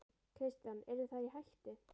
Kristján: Yrðu þær í hættu?